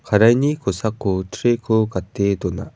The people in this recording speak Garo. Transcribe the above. karaini kosako tray-ko gate dona.